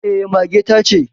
Eh mage ta ce